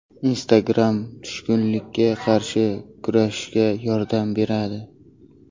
Instagram tushkunlikka qarshi kurashishga yordam beradi.